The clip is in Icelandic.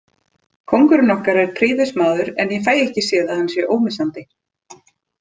Kóngurinn okkar er prýðismaður en ég fæ ekki séð að hann sé ómissandi.